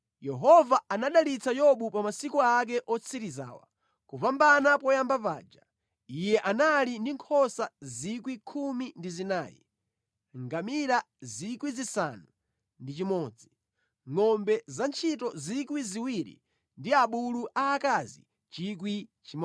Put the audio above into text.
Yehova anadalitsa Yobu pa masiku ake otsirizawa kupambana poyamba paja. Iye anali ndi nkhosa 14,000, ngamira 6,000, ngʼombe zantchito 2,000 ndi abulu aakazi 1,000.